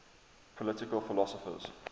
political philosophers